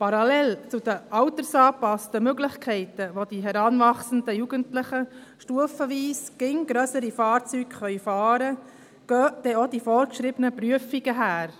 Parallel zu den altersangepassten Möglichkeiten, dass die heranwachsenden Jugendlichen stufenweise immer grössere Fahrzeuge fahren können, gehen denn auch die vorgeschriebenen Prüfungen einher.